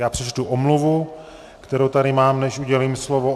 Já přečtu omluvu, kterou tady mám, než udělím slovo.